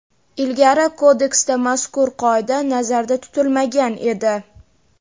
Ilgari Kodeksda mazkur qoida nazarda tutilmagan edi.